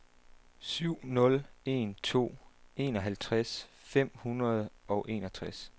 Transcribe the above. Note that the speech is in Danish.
syv nul en to enoghalvtreds fem hundrede og enogtres